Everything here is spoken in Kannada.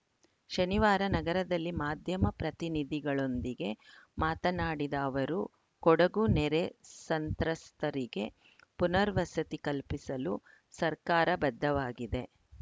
ಶನಿವಾರ ನಗರದಲ್ಲಿ ಮಾಧ್ಯಮ ಪ್ರತಿನಿಧಿಗಳೊಂದಿಗೆ ಮಾತನಾಡಿದ ಅವರು ಕೊಡಗು ನೆರೆ ಸಂತ್ರಸ್ತರಿಗೆ ಪುನರ್ವಸತಿ ಕಲ್ಪಿಸಲು ಸರ್ಕಾರ ಬದ್ಧವಾಗಿದೆ